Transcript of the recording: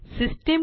system